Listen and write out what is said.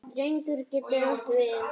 Drengur getur átt við